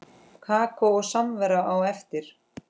Kakó og samvera á eftir.